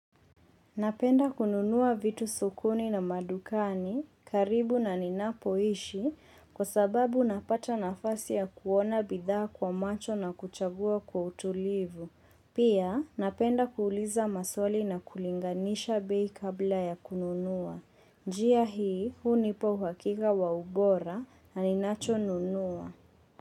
Napenda kununua vitu sokoni na madukani, karibu na ninapoishi, kwa sababu napata nafasi ya kuona bidhaa kwa macho na kuchagua kwa utulivu. Pia, napenda kuuliza maswali na kulinganisha bei kabla ya kununua. Njia hii hunipa uhakika wa ubora na ninacho nunua.